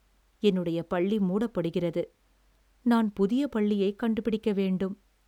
என்னுடைய பள்ளி மூடப்படுகிறது. நான் புதிய பள்ளியைக் கண்டு பிடிக்க வேண்டும்.